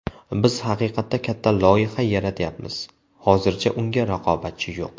Biz haqiqatda katta loyiha yaratayapmiz, hozircha unga raqobatchi yo‘q.